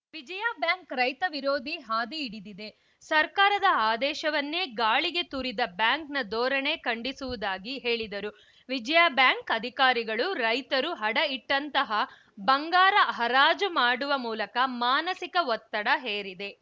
Vijaya bank ರೈತ ವಿರೋಧಿ ಹಾದಿ ಹಿಡಿದಿದೆ ಸರ್ಕಾರದ ಆದೇಶವನ್ನೇ ಗಾಳಿಗೆ ತೂರಿದ ಬ್ಯಾಂಕ್‌ನ ಧೋರಣೆ ಖಂಡಿಸುವುದಾಗಿ ಹೇಳಿದರು ವಿಜಯಾ ಬ್ಯಾಂಕ್‌ ಅಧಿಕಾರಿಗಳು ರೈತರು ಅಡ ಇಟ್ಟಂತಹ ಬಂಗಾರ ಹರಾಜು ಮಾಡುವ ಮೂಲಕ ಮಾನಸಿಕ ಒತ್ತಡ ಹೇರಿದೆ